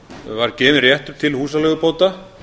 var gefinn réttur til húsaleigubóta